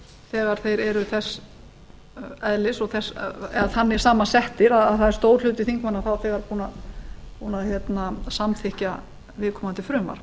þegar þeir eru þannig samansettir að það er stór hluti þingmanna þá þegar búinn að samþykkja viðkomandi frumvarp